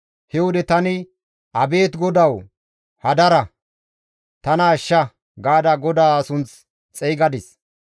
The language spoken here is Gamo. He wode tani, «Abeet GODAWU! Hadara! Tana ashsha» gaada GODAA sunth xeygadis.